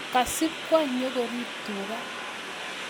kasibkwo nyokoriib tuga